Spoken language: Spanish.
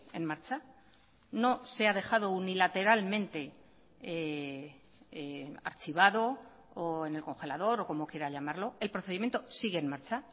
en marcha no se ha dejado unilateralmente archivado o en el congelador o como quiera llamarlo el procedimiento sigue en marcha